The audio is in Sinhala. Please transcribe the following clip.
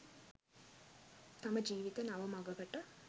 තම ජීවිත නව මඟකට